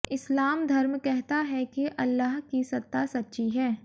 इस्लाम धर्म कहता है कि अल्लाह की सत्ता सच्ची है